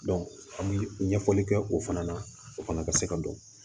an bɛ ɲɛfɔli kɛ o fana na o fana ka se ka dɔn